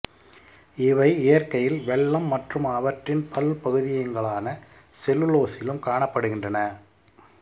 இவை இயற்கையில் வெல்லம் மற்றும் அவற்றின் பல்பகுதியங்களான செல்லுலோசிலும் காணப்படுகின்றன